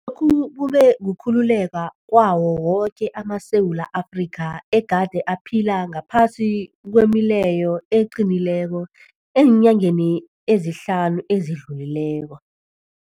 Lokhu kube kukhululeka kwawo woke amaSewula Afrika egade aphila ngaphasi kwemileyo eqinileko eenyangeni ezihlanu ezidlulileko.